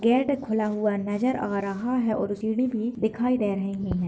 Gate खुला हुआ नजर आ रहा है और सीडी भी दिखाई दे रही है।